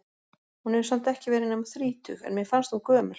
Hún hefur samt ekki verið nema þrítug, en mér fannst hún gömul.